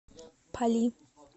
пали